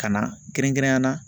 Ka na kɛrɛnkɛrɛnnenya la